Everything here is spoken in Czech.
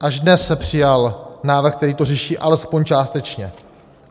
Až dnes se přijal návrh, který to řeší alespoň částečně.